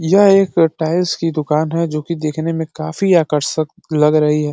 यह एक टाइल्स की दुकान है जोकि दिखने में काफी आकर्षक लग रही है।